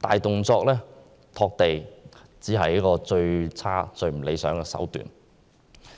大動作拓地只是最差、最不理想的手段。